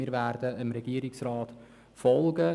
Wir werden dem Regierungsrat folgen.